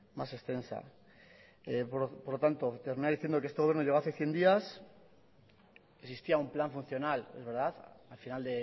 más extensa por lo tanto terminar diciendo que este gobierno llegó hace cien días existía un plan funcional es verdad al final